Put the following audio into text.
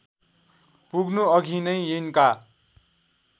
पुग्नुअघि नै यिनका